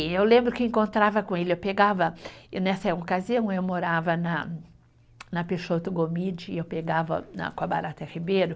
E eu lembro que encontrava com ele, eu pegava, eu nessa ocasião eu morava na, na Peixoto Gomide e eu pegava na, com a Barata Ribeiro.